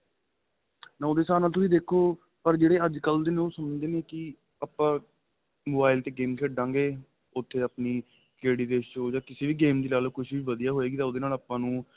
ਉਹਦੇ ਹਿਸਾਬ ਨਾਲ ਦੇਖੋ ਪਰ ਜਿਹੜੇ ਅੱਜ ਕੱਲ ਦੇ ਸੁਣਦੇ ਨੇ ਕੀ ਆਪਾ mobile ਦੇ game ਖੇਡਾਂ ਗਏ ਉਥੇ ਆਪਣੀ ਕਿਸੇ ਵੀ game ਦੀ ਲਾਲੋ ਕੁੱਛ ਵੀ ਵਧੀਆ ਹੋਏਗੀ ਉਹਦੇ ਨਾਲ ਆਪਾ ਨੂੰ